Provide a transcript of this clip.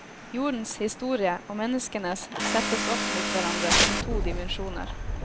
Jordens historie, og menneskenes, settes opp mot hverandre som to dimensjoner.